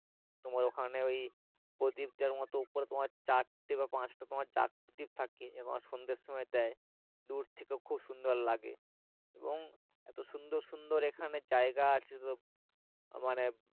তোমার ওখানে ওই প্রদীপ দেওয়ার মতো উপরে তোমার চারটে বা পাঁচটে তোমার চাকতি থাকে সন্ধ্যার সময় দেয় দূর থেকে খুব সুন্দর লাগে এবং এতো সুন্দর সুন্দর এখানে জায়গা আছে মানে,